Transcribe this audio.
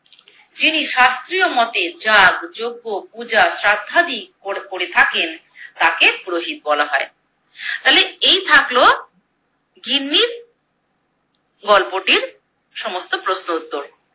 যিনি শাস্ত্রীয় মতে যাগ, যজ্ঞ, পূজা, শ্রাদ্ধাদি করে থাকেন তাকে পুরোহিত বলা হয়। তালে এই থাকলো গিন্নি গল্পটির সমস্ত প্রশ্নোত্তর।